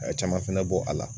A ye caman fɛnɛ bɔ a la